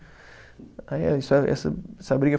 Aí é, essa briga foi